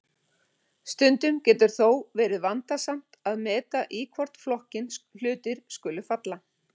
Stundum getur þó verið vandasamt að meta í hvorn flokkinn hlutir skuli falla.